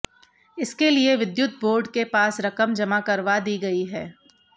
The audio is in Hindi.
इसके लिए विद्युत बोर्ड के पास रकम जमा करवा दी गई है